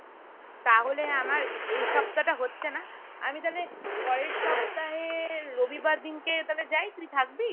তাহলে আমার এই সপ্তাহ টা হচ্ছে না আমি তালে পরের সপ্তাহে রবিবার দিনকে তালে যায় তুই থাকবি?